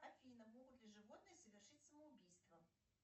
афина могут ли животные совершить самоубийство